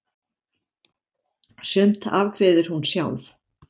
Sumt afgreiðir hún sjálf.